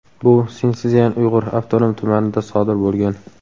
Bu Sinszyan-Uyg‘ur avtonom tumanida sodir bo‘lgan.